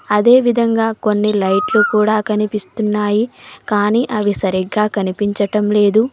అదే విధంగా కొన్ని లైట్లు కూడా కనిపిస్తున్నాయి కానీ అవి సరిగ్గా కనిపించటం లేదు.